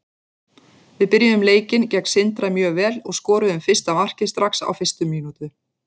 Við byrjuðum leikinn gegn Sindra mjög vel og skoruðum fyrsta markið strax á fyrstu mínútu.